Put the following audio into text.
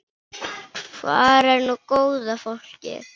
Hvar er nú góða fólkið?